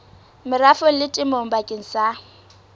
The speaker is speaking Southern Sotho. merafong le temong bakeng sa